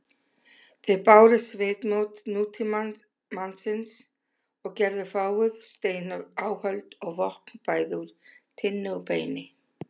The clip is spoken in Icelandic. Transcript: Þeir báru svipmót nútímamanns og gerðu fáguð steináhöld og vopn bæði úr tinnu og beini.